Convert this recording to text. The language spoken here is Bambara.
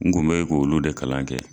N kun bɛ k'olu de kalan kɛ.